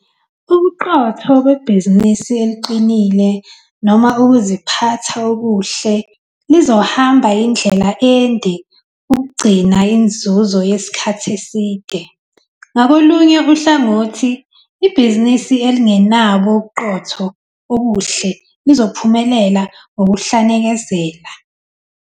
Ubuqotho bebhizinisi eliqinile noma ukuziphatha okuhle, lizohamba indlela ende ukugcina inzuzo yesikhathi eside. Ngakolunye uhlangothi, ibhizinisi elingenabo ubuqotho obuhle lizophumelela ngokuhlanekezela.